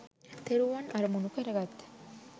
තෙරුවන් අරමුණු කරගත්